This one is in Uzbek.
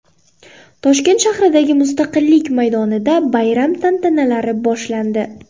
Toshkent shahridagi Mustaqillik maydonida bayram tantanalari boshlandi.